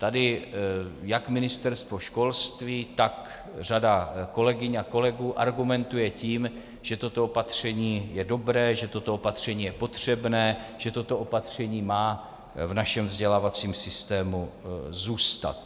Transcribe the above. Tady jak Ministerstvo školství, tak řada kolegyň a kolegů argumentuje tím, že toto opatření je dobré, že toto opatření je potřebné, že toto opatření má v našem vzdělávacím systému zůstat.